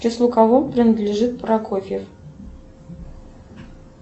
к числу кого принадлежит прокофьев